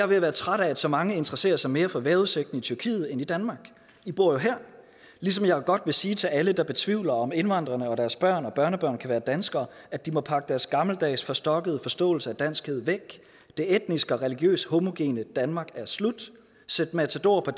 ved at være træt af at så mange interesserer sig mere for vejrudsigten i tyrkiet end i danmark i bor jo her ligesom jeg godt vil sige til alle der betvivler om indvandrerne og deres børn og børnebørn kan være danskere at de må pakke deres gammeldags forstokkede forståelse af danskhed væk det etnisk og religiøst homogene danmark er slut sæt matador på